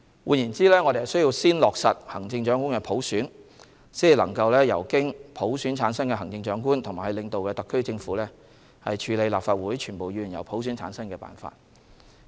換言之，我們需先落實行政長官普選，才能由經普選產生的行政長官及其領導的特區政府處理立法會全部議員由普選產生的辦法。